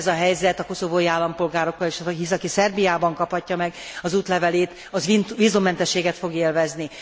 Ugyanez a helyzet a koszovói állampolgárokkal is, hisz aki Szerbiában kaphatja meg az útlevelét, az vízummentességet fog élvezni.